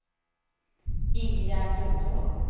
Ingegärd Lundholm